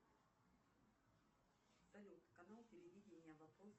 салют канал телевидения вопрос